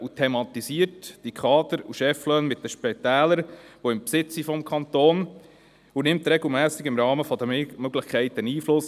Er thematisiert die Kader- und Cheflöhne mit den Spitälern im Besitz des Kantons und nimmt im Rahmen seiner Möglichkeiten regelmässig Einfluss.